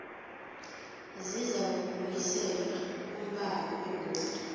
zizakubuyiselwa kumbawi begodu